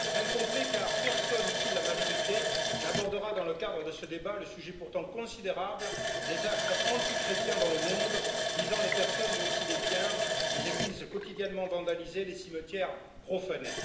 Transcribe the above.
Incomplet, car personne, ici, de la majorité, n'abordera dans le cadre de ce débat le sujet pourtant considérable des actes antichrétiens dans le monde, visant des personnes mais aussi des biens, des églises quotidiennement vandalisées, des cimetières profanés.